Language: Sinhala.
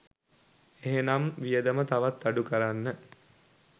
එහෙනම් වියදම තවත් අඩු කරන්න